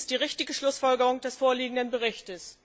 Dies ist die richtige Schlussfolgerung des vorliegenden Berichts.